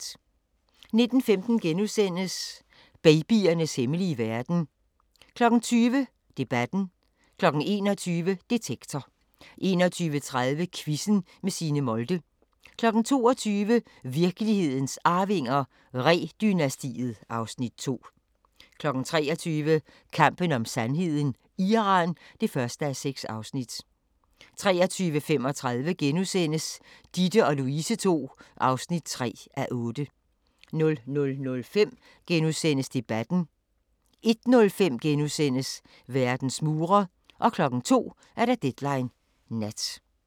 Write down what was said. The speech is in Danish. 19:15: Babyernes hemmelige verden * 20:00: Debatten 21:00: Detektor 21:30: Quizzen med Signe Molde 22:00: Virkelighedens Arvinger: Ree-dynastiet (Afs. 2) 23:00: Kampen om sandheden: Iran (1:6) 23:35: Ditte & Louise ll (3:8)* 00:05: Debatten * 01:05: Verdens mure * 02:00: Deadline Nat